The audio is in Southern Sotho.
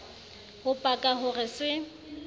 ho paka ho re se